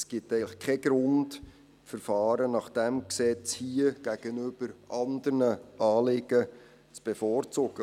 Es gibt keinen Grund, die Verfahren nach dem vorliegenden Gesetz anderen Anliegen gegenüber zu bevorzugen.